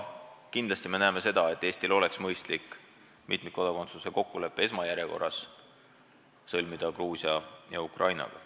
Me arvame, et Eestil oleks kindlasti mõistlik mitmikkodakondsuse kokkulepe esmajärjekorras sõlmida Gruusia ja Ukrainaga.